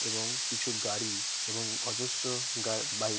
এবং কিছু গাড়ি এবং অজস্র গা বাইক ।